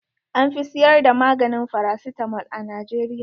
An fi siyar da maganin farasitamol a Najeriya.